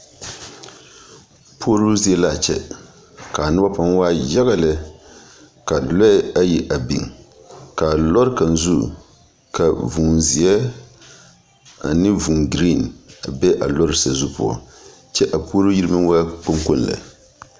Puoroo zie la a kyɛ ka a noba pãã waa yaɡa lɛ ka lɔɛ ayi a biŋ ka a lɔr kaŋ zu ka vūūzeɛ ane vūūɡree a be a lɔr sazu poɔ kyɛ a puoroo yiri meŋ waa kpoŋkooŋ lɛ .